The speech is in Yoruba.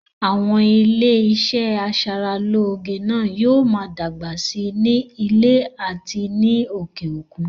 Àwọn ilé iṣẹ́ aṣaralóge ní na yóò ma dàgbà si nílẹ̀ àti ní òkè òkun